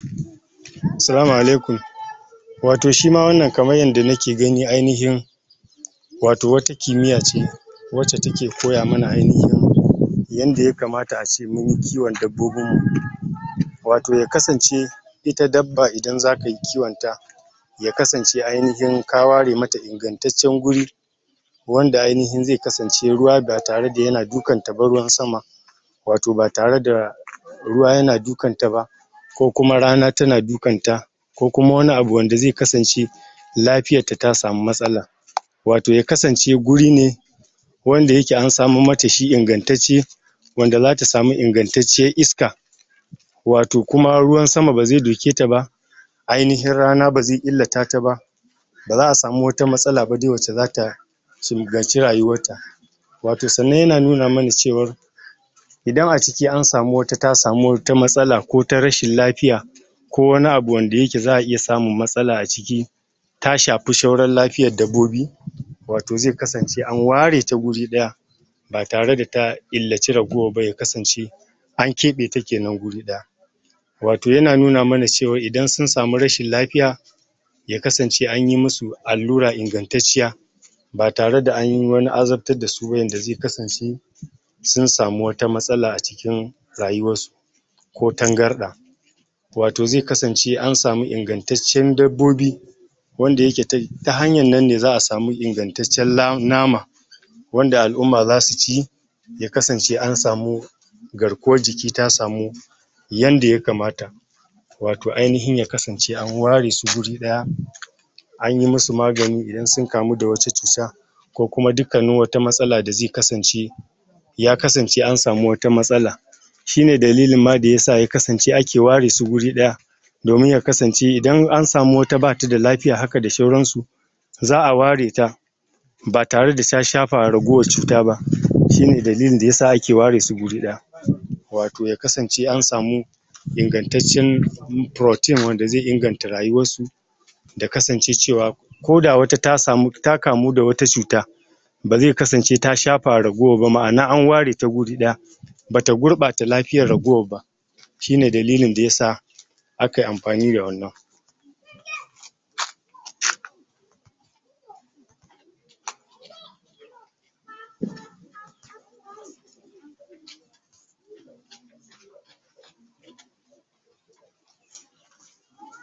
Salama alaikum ato shima wannan kaman yanda nake gani ainihin wato wata kimiya ce wace take koya mana ainihin, yanda ya kamata a ce munyi kiwon dabbobin mu, wato ya kasance ita dabba indan za kayi kiwon ta ya kasance ainihin ka ware mata inganttacen wuri, wanda ainihi za kasance ruwa ga tare da yana dukan ta ba, ruwan sama wato ba tare da ruwa yana dukan ta ba ko kuma rana tana dukan ta ko kuma wane abu da ze kasance lafiyan ta, ta samu matsala wato ya kasance guri ne wanda yake an samo mata shi inganttace wanda zata samu inganttace iska wato kuma ruwan sama ba ze duke ta ba ainihin rana baze illita ta ba ba za a samu wata matsala ba wadda za ta sulgace rayuwar ta wato sannan yana nuna mana cewa idan a ciki an samu wata ta samu wata matsala ko ta rashin lafiya ko wane abu da yake za iya samu matsala a ciki ta shafi sauran lafiyar dabbobi wato ze kasance an ware ta wuri daya ba tare da ta illace ya kasance an kabe ta ne wuri daya Wato yana nuna mana cewa idan sun samu wane rashin lafiya ya kasance anyi musu allura inganttaciya ba tare da anyi wane azaptar da su ba yanda ze kasance sun samu wane matsala a cikin rayuwar su ko tangarda. wato ze kasance an samu inganttaecn dabbobi wanda yakke ta, ta hanyan nan ne za samu me inganttacen nama wanda al'umma za su ci ya kasance an samu garkuwar jiki ta samu yanda ya kamata. wato ainihi ya kasance an ware su guri daya anyi musu magani idan sun kamu da wata cuta ko kuma duka wata matsala da ze kasance ya kasance an samu wata matsala shi ne dalilin ma da yasa ya kaance ake ware su wuri daya, domin ya kasance idan an samu wata bata da lafiya hakan da sauran su za a ware ta ba tare da ta shafa cuta ba shi ne dalilin da ya sa ba a ware su a wuri daya wato ya kasance an samu inganttacen protein wanda ze inganta rayuwar su, da kasance cewa koda wata ta samu, ta kamu da wata cuta baze kasance ta shafa ware ta wuri daya bata gurba ta lafiyar raguwar ba shi ne dalilin a yasa